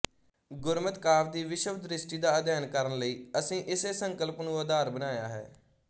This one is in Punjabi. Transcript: ਗੁਰਮਿਤ ਕਾਵਿ ਦੀ ਵਿਸ਼ਵਦ੍ਰਿਸ਼ਟੀ ਦਾ ਅਧਿਐਨ ਕਰਨ ਲਈ ਅਸੀਂ ਇਸੇ ਸਕੰਲਪ ਨੂੰ ਆਧਾਰ ਬਣਾਇਆ ਹੈ